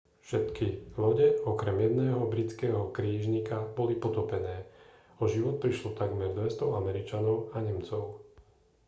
všetky lode okrem jedného britského krížnika boli potopené o život prišlo takmer 200 američanov a nemcov